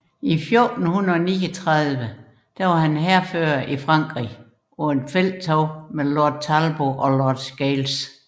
I 1439 var han hærfører i Frankrig på et felttog med Lord Talbot og Lord Scales